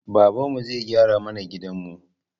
Babanmu zai gyara mana gidanmu